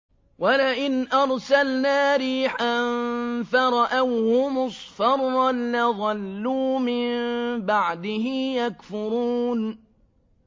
وَلَئِنْ أَرْسَلْنَا رِيحًا فَرَأَوْهُ مُصْفَرًّا لَّظَلُّوا مِن بَعْدِهِ يَكْفُرُونَ